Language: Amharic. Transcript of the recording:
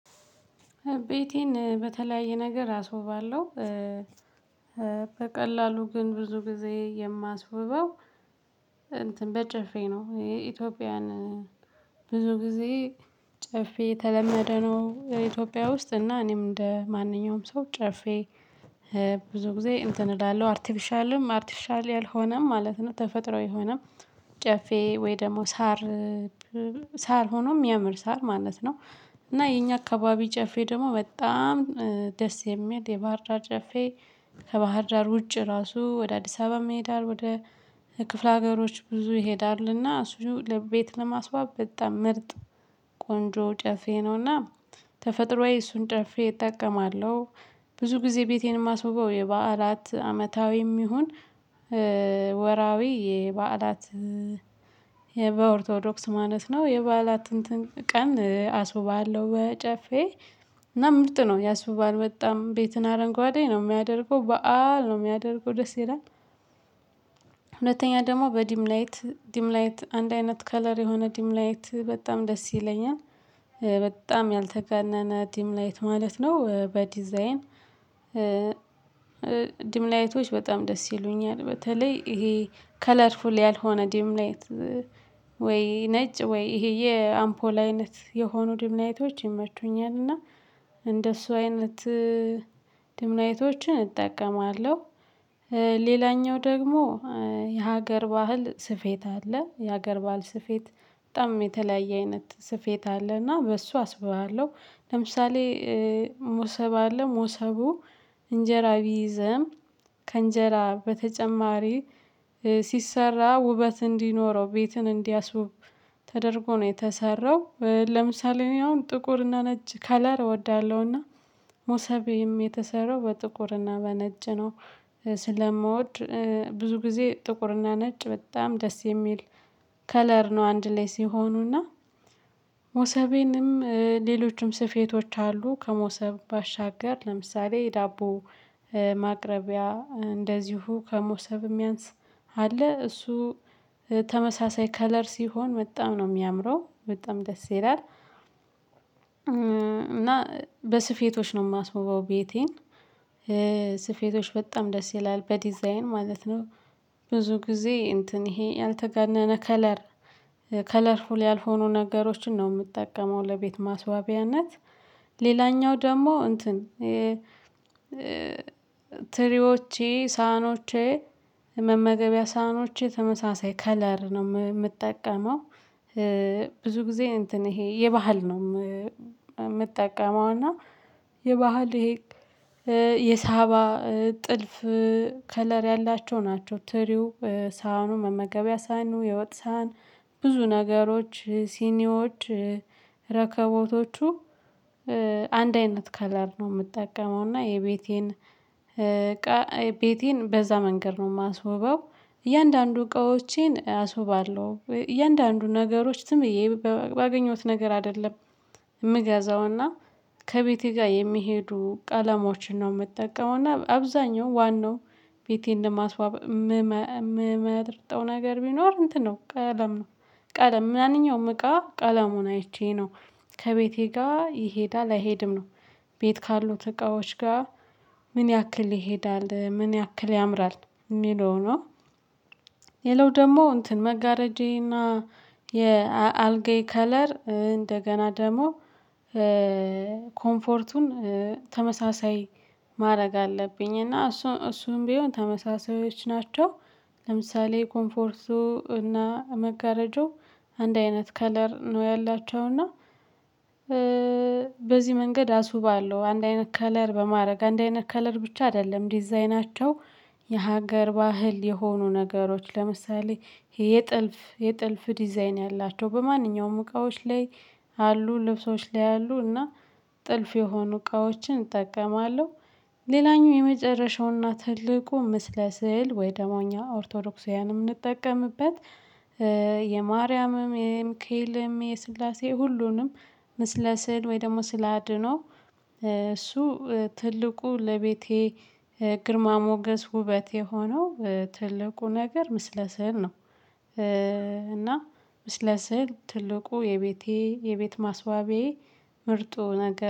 ቤቴን በተለያየ ነገር አስውባለሁ። በቀላሉ ግን ብዙ ጊዜ የማስውበው እንትን በጨፌ ነው። ይሄ ኢትዮጵያን ብዙ ጊዜ ጨፌ የተለመደ ነው። የኢትዮጵያ ውስጥ እና እኔም እንደ ማንኛውም ሰው ጨፌ። ብዙ ጊዜ እንትን እላለሁ አርቲቪሻልም አርቲቪሻል ያልሆነም ማለት ነው። ተፈጥሯዊ የሆነም ጨፌ ወይ ደግሞ ሳር ሆኖ የሚያምር ሳር ማለት ነው። እና የኛ አካባቢ ጨፌ ደግሞ በጣም ደስ የሚል የባህር ዳር ጨፌ። ከባህር ዳር ውጪ ራሱ ወደ አዲስ አበባም ይሄዳል ወደ ክፍለ ሀገሮች ብዙ ይሄዳልና እሱ ለቤት ለማስዋብ በጣም ምርጥ ቆንጆ ጨፌ ነውና። ተፈጥሮአዊ እሱን ጨፌ እጠቀማለሁ። ብዙ ጊዜ ቤቴን የማስውበው የበዓላት አመታዊም ይሁን ወራዊ የበዓላት የበኦርቶዶክስ ማለት ነው የበዓላት እንትን ቀን አስውባለሁ። በጨፌ እና ምርጥ ነው ያስውባል በጣም ቤትን አረንጓዴ ነው የሚያደርገው በዓል ነው የሚያደርገው ደስ ይላል። ሁለተኛ ደግሞ በዲም ላይት ዲም ላይት አንድ አይነት ከለር የሆነ ዲም ላይት በጣም ደስ ይለኛል። በጣም ያልተጋነነ ዲም ላይት ማለት ነው በዲዛይን ድምላይቶች በጣም ደስ ይሉኛል። በተለይ ይሄ ከለርፉል ያልሆነ ድምላይት ወይ ነጭ ወይ ይሄ የአምፖል አይነት የሆኑ ድምናይቶች ይመቹኛል። እና እንደሱ አይነት ሁለተኛ ደግሞ በዲም ላይት ዲም ላይት አንድ አይነት ከለር የሆነ ዲም ላይት በጣም ደስ ይለኛል። ሞሰብ አለ ሞሰቡ እንጀራ ቢይዘም ከእንጀራ በተጨማሪ ሲሰራ ውበት እንዲኖረው ቤትን እንዲያስውብ ተደርጎ ነው የተሰራው። ለምሳሌ እኔ አሁን ጥቁር እና ነጭ ከለር እወዳለሁና ሞሰቤም የተሰራው በጥቁርና በነጭ ነው። ስለምወድ ብዙ ጊዜ ጥቁርና ነጭ በጣም ደስ የሚል ከለር ነው። አንድ ላይ ሲሆኑና ሞሰቤንም ሌሎችም ስፌቶች አሉ። ከሞሰብ ባሻገር ለምሳሌ የዳቦ ማቅረቢያ እንደዚሁ ከሞሰብ የሚያንስ አለ እሱ ተመሳሳይ ከለር ሲሆን በጣም ነው የሚያምረው በጣም ደስ ይላል። እና በስፌቶች ነው የማስውበው ቤቴን። ስፌቶች በጣም ደስ ይላል በዲዛይን ማለት ነው። ብዙ ጊዜ እንትን ይሄ ያልተገነነ ከለር ከለርፉል ያልሆኑ ነገሮችን ነው የምጠቀመው። ለቤት ማስዋቢያነት ሌላኛው ደግሞ እንትን ትሪዎቼ ሳህኖቼ መመገቢያ ሳህኖቼ ተመሳሳይ ከለር ነው የምጠቀመው። ብዙ ጊዜ እንትን ይሄ የባህል ነው የምጠቀመው እና የባህል ይሄ የሳባ ጥልፍ ከለር ያላቸው ናቸው። ትሪው ሳህኑ መመገቢያ ሳይኑ የወጥ ሳህን ብዙ ነገሮች ሲኒዎች ረከቦቶቹ አንድ አይነት ከለር ነው የምጠቀመው እና የቤቴን ቤቴን በዛ መንገድ ነው የማስውበው። እያንዳንዱ እቃዎቼን አስውባለሁ እያንዳንዱ ነገሮች ዝምብዬ ባገኘሁት ነገር አይደለም። የምገዛውና ከቤቴ ጋር የሚሄዱ ቀለሞችን ነው የምጠቀመው። እና አብዛኛው ዋናው ቤቴን ለማስዋበት ምመርጠው ነገር ቢኖር እንትን ነው ቀለም ነው። ቀለም ምንኛውም እቃ ቀለሙን አይቼ ነው ከቤቴ ጋር ይሄዳል አይሄድም ነው። ቤት ካሉት እቃዎች ጋር ምን ያክል ይሄዳል ምን ያክል ያምራል የሚለው ነው። ሌላው ደግሞ እንትን መጋረጃዬና የአልጋዬ ከለር እንደገና ደግሞ ኮምፎርቱን ተመሳሳይ ማድረግ አለብኝ እና እሱ እሱም ቢሆን ተመሳሳይዎች ናቸው። ለምሳሌ ኮምፎርቱ እና መጋረጃው አንድ አይነት ከለር ነው ያላቸው እና። በዚህ መንገድ አስውባለሁ አንድ አይነት ከለር በማድረግ አንድ አይነት ከለር ብቻ አይደለም ዲዛይናቸው የሀገር ባህል የሆኑ ነገሮች ለምሳሌ የጥልፍ የጥልፍ ዲዛይን ያላቸው በማንኛውም እቃዎች ላይ። አሉ ልብሶች ላይ አሉ እና ጥልፍ የሆኑ እቃዎችን እጠቀማለሁ። ሌላኛው የመጨረሻውና ትልቁ ምስለ ስዕል ወይ ደግሞ እኛ ኦርቶዶክሳውያንም ምንጠቀምበት። የማርያምም የሚካኤልም የስላሴ ሁሉንም ምስለ ስል ወይ ደግሞ ስላድኖ እሱ ትልቁ ለቤቴ ግርማ ሞገስ ውበት የሆነው ትልቁ ነገር ምስለ ስዕል ነው። እና ምስለ ስዕል ትልቁ የቤቴ የቤት ማስዋቢያዬ ምርጡ ነገር